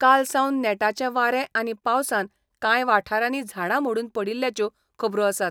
कालसावन नेटाचें वारें आनी पावसान कांय वाठारांनी झाडां मोडून पडिल्ल्याच्यो खबरो आसात.